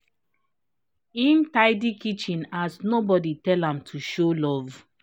him tidy kitchen as nobody tell am to show love